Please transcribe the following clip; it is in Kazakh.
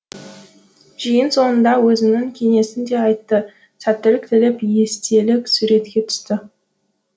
жиын соңында өзінің кеңесін де айтты сәттілік тілеп естелік суретке түсті